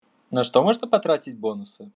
на что можно потратить бонус